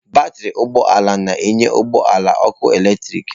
Batrị ụgbọ ala na-enye ụgbọ ala ọkụ eletrik.